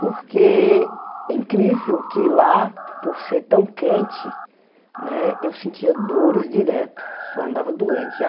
Porque é incrível que lá, por ser tão quente né, eu sentia dores direto, só andava doente.